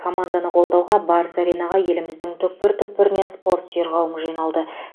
команданы қолдауға барыс аренаға еліміздің түкпір түкпірінен спорт сүйер қауым жиналды